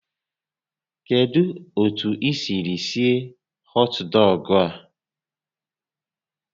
Kedu otu i siri sie họt dọgụ a?